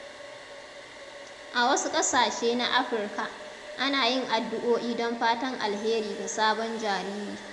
A wasu ƙasashe na Afirka, ana yin addu'o'i don fatan alheri ga sabon jariri.